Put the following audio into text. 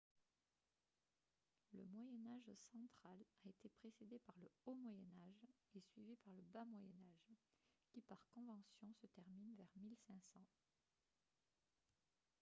le moyen âge central a été précédé par le haut moyen âge et suivi par le bas moyen âge qui par convention se termine vers 1500